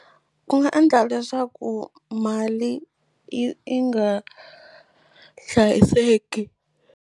Ku nga endla leswaku mali i nga hlayiseki.